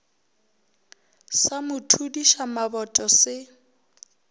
sa mo thudiša maboto se